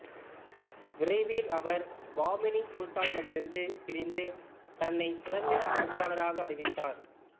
விரைவில் அவர் பாமினி சுல்தானகத்திடமிருந்து பிரிந்து தன்னை சுதந்திர ஆட்சியாளராக அறிவித்தார்